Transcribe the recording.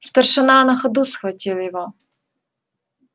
старшина на ходу схватил его